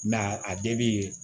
Nka a bɛɛ bi